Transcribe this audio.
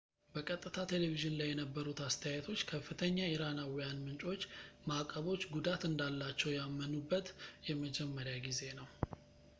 በቀጥታ ቴሌቪዝን ላይ የነበሩት አስተያየቶች ከፍተኛ ኢራናዊያን ምንጮች ማዕቀቦች ጉዳት እንዳላቸው ያመኑበት የመጀመሪያ ጊዜ ነው